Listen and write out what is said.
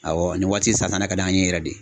Awɔ nin waati san, n'a ka d'an ye yɛrɛ de.